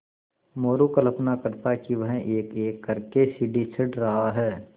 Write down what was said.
मोरू कल्पना करता कि वह एकएक कर के सीढ़ी चढ़ रहा है